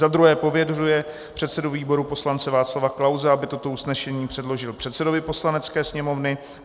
Za druhé pověřuje předsedu výboru poslance Václava Klause, aby toto usnesení předložil předsedovi Poslanecké sněmovny.